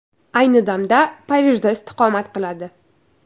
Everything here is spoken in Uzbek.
Ayni damda Parijda istiqomat qiladi.